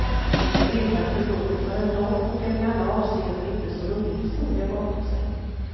Ni ska veta att förbundet har en lång och en i alla avseenden inte så rolig historia bakom sig.